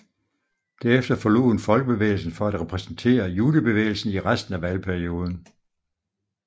Derefter forlod hun Folkebevægelsen for at repræsentere Junibevægelsen i resten af valgperioden